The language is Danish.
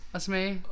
At smage